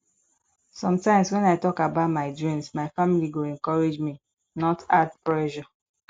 sometimes when i talk about my dreams my family go encourage me not add pressure